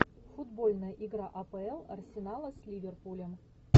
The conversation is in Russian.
футбольная игра апл арсенала с ливерпулем